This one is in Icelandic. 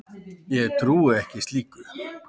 Ég trúi ekki slíku.